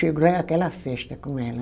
Chego lá é aquela festa com ela.